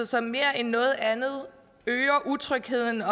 som mere end noget andet øger utrygheden